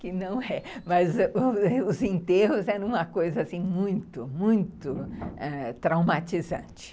que não é, mas os os enterros eram uma coisa assim muito, ãh, muito traumatizante.